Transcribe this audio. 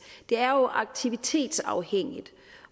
er det jo aktivitetsafhængigt